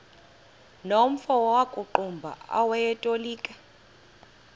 nomfo wakuqumbu owayetolika